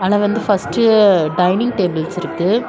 நான் வந்து first dining tables இருக்கு.